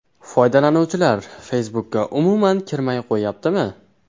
Foydalanuvchilar Facebook’ga umuman kirmay qo‘yyaptimi?